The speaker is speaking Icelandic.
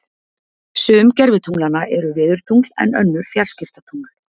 Sum gervitunglanna eru veðurtungl en önnur fjarskiptatungl.